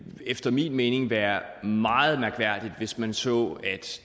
efter min mening være meget mærkværdigt hvis man så at